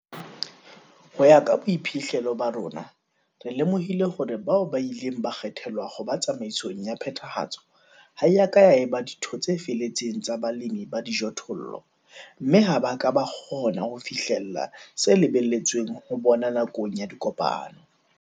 Ho ya ka boiphihlelo ba rona, re lemohile hore bao ba ileng ba kgethelwa ho ba tsamaisong ya Phethahatso ha e ka ya eba ditho tse feletseng tsa balemi ba dijothollo, mme ha ba ka ba kgona ho fihlella se lebelletsweng ho bona nakong ya dikopano.